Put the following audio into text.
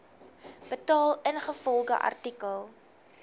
betaal ingevolge artikel